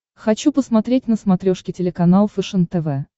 хочу посмотреть на смотрешке телеканал фэшен тв